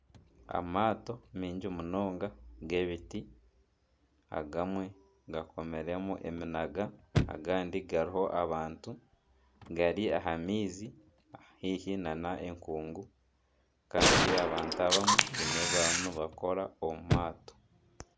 Amaato mingi munonga g'ebiti, agamwe gakomiremu eminaga agandi hariho abantu gari aha maizi haihi nana enkuungu Kandi abantu abamwe baine ebi barimu nibakora omu maato.